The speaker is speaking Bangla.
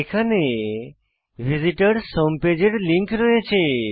এখানে ভিসিটরস হোম পেজ এর লিঙ্ক রয়েছে